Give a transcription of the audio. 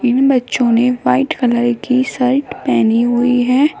इन बच्चों ने white colour की शर्ट पहनी हुई है।